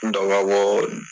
N dɔ ba bɔɔ n